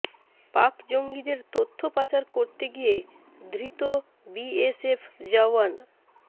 পাক জঙ্গিদের তথ্য পাচার করতে গিয়ে ধৃত বিএসএফ জওয়ান